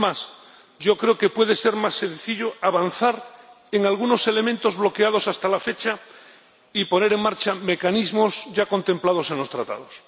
Es más, yo creo que puede ser más sencillo avanzar en algunos elementos bloqueados hasta la fecha y poner en marcha mecanismos ya contemplados en los Tratados.